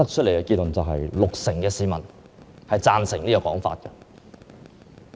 "有六成受訪市民贊成此說法。